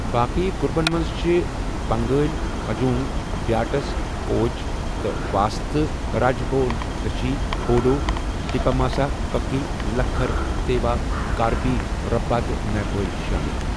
باقی گروپَن منٛز چھِ بنٛگٲلۍ ، ہجونگ، بیاٹس، کوچ ، تہٕ واسطہٕ راجبونگشی، بوڈو ، دیماسا، کُکی، لکھر، تیوا، کاربی، ربھا تہٕ نیپٲلۍ شٲمِل۔